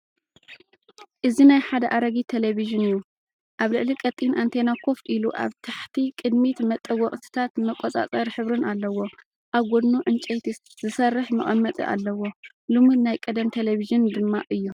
እዚናይ ሓደ ኣረጊት ቴሌቪዥን እዩ። ኣብ ልዕሊ ቀጢን ኣንቴና ኮፍ ኢሉ፡ ኣብ ታሕቲ ቅድሚት መጠወቒታትን መቆጻጸሪ ሕብርን ኣለዎ። ኣብ ጎድኑ ዕንጨይቲ ዝሰርሕ መቐመጢ ኣለዎ፣ ልሙድ ናይ ቀደም ቴሌቪዥን ድማ እዩ።